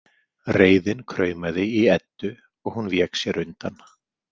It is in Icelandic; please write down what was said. Reiðin kraumaði í Eddu og hún vék sér undan.